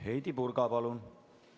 Heidy Purga, palun!